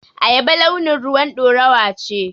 Ayaba launin ruwan ɗorawa ce.